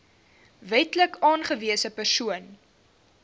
wetlik aangewese persoon